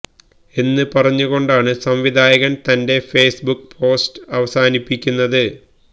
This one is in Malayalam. എന്ന് പറഞ്ഞു കൊണ്ടാണ് സംവിധായകൻ തന്റെ ഫേസ്ബുക്ക് പോസ്റ്റ് അവസാനിപ്പിക്കുന്നത്